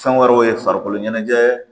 Fɛn wɛrɛw ye farikolo ɲɛnajɛ